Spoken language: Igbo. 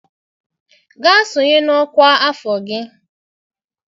Gaa sonye na ọkwa afọ gị!